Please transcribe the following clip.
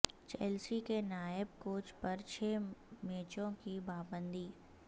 Chelsea کے نائب coach پر چھ میچوں کی پابندی